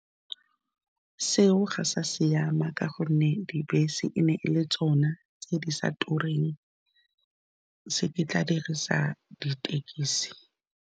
Seo ga sa siama, ka gonne dibese e ne e le tsona tse di sa tureng se ke tla dirisa ditekesi.